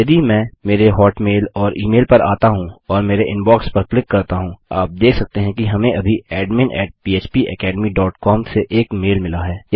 यदि मैं मेरे हॉटमेल और ई मेल पर आता हूँ और मेरे इनबॉक्स पर क्लिक करता हूँ आप देख सकते हैं कि हमें अभी एडमिन फ्पेकेडमी डॉट कॉम से एक मेल मिला है